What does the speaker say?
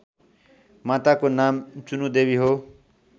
माताको नाम चुनुदेवी हो